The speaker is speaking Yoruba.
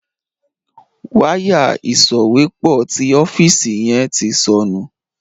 Wáyà ìsòwépọ̀ tí ọ́fíìsì yen tí sọnù.